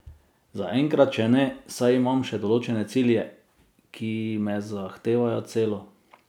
Za enkrat še ne, saj imam še določene cilje, ki me zahtevajo celo.